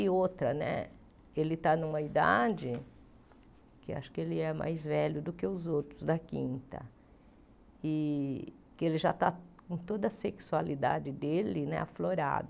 E outra né, ele está numa idade, que acho que ele é mais velho do que os outros da quinta, e que ele já está com toda a sexualidade dele né aflorada.